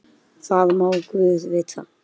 Svenni lyftist allur við hrósið.